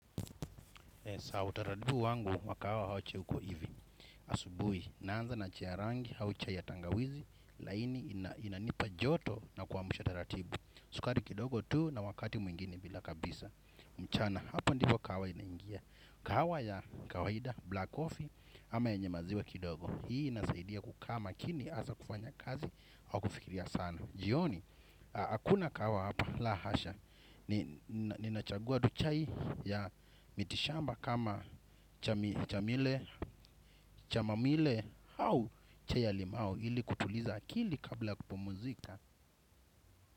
Kwa utaratibu wangu wakaacha iko hivo. Asubuhi, naanza na chai ya rangi au chai ya tangawizi laini inanipa joto na kuamsha tataratibu. Sukari kidogo tu na wakati mwingine bila kabisa. Mchana. Hapa ndipo kahawa inaingia. Kahawa ya kawaida, black coffee, ama yenye maziwa kidogo. Hii inasaidia kukaa makini hasa kufanya kazi, au kufikiria sana. Jioni, hakuna kahawa hapa. La hasha. Ninachagua tu chai ya mitishamba kama chamamile. Au chai ya limao ili kutuliza akili kabla ya kupumzika.